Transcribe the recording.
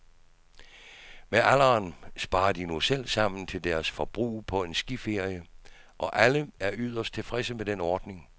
Med alderen sparer de nu selv sammen til deres forbrug på en skiferie, og alle er yderst tilfredse med den ordning.